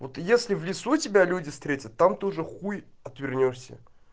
вот если в лесу тебя люди встретят там тоже х отвернёшься